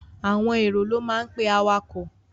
Àwọn èrò ló máa pe awakọ̀.